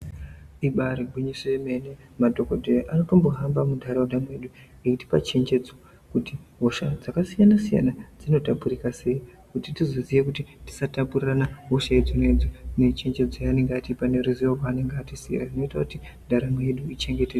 Ibaari gwiyiso yemene madhokodheya anotombohamba muntaraunda mwedu eitipa chenjedzo hosha dzakasiyana siyana dzinotapurika sei kuti tizoziye kuti tisatapurirana hosha idzona idzo nechnjedzo yaanenge atipa neruzo rwaanenge atisiyira zvinoita kuti ndaramo yedu ichengetedzeke.